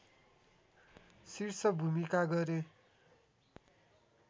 शीर्ष भूमिका गरे